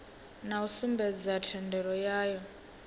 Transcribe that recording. na u sumbedza thendelo yayo